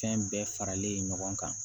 Fɛn bɛɛ faralen ɲɔgɔn kan